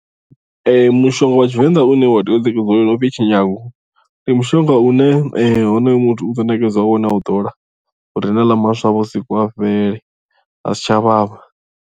Ee mushonga wa tshivenḓa une wa tea u ṋekedziwa wone upfhi mitshinyadzo ndi mushonga une honoyo muthu u ḓo nekedzwa wone a u ḓola uri haneaḽa maswa vhusiku a fhele a si tsha vhavha.